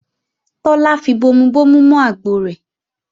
Tọ́lá fi bomubomu mọ àgbọ rẹ̀